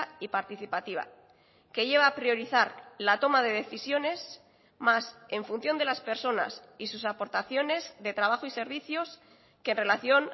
y participativa que lleva a priorizar la toma de decisiones más en función de las personas y sus aportaciones de trabajo y servicios que en relación